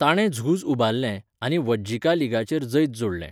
ताणें झूज उबारलें आनी वज्जिका लीगाचेर जैत जोडलें.